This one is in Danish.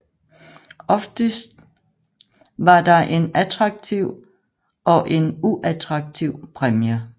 Oftest var der en attraktiv og en uattraktiv præmie